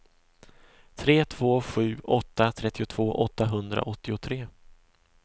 tre två sju åtta trettiotvå åttahundraåttiotre